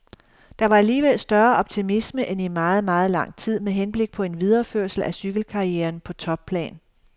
Der var alligevel større optimisme end i meget, meget lang tid med henblik på en videreførsel af cykelkarrieren på topplan.